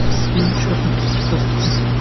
фильм черный плащ поставь